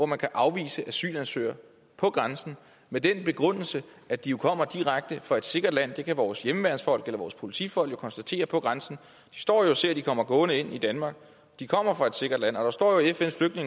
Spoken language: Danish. man kan afvise asylansøgere på grænsen med den begrundelse at de kommer direkte fra et sikkert land det kan vores hjemmeværnsfolk eller politifolk konstatere på grænsen de står jo og ser at de kommer gående ind i danmark de kommer fra et sikkert land og der står